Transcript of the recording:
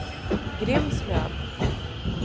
Grimslöv